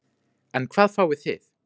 En hvað fáið þið?